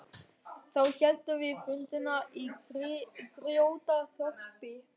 Þá héldum við fundina í Grjótaþorpi.